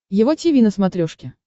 его тиви на смотрешке